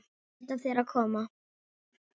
Sætt af þér að koma.